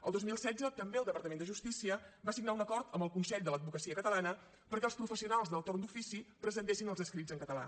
el dos mil setze també el departament de justícia va signar un acord amb el consell de l’advocacia catalana perquè els professionals del torn d’ofici presentessin els escrits en català